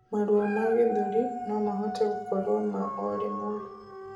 Maruo ma gĩthũri nomahote gũkorwo ma orimwe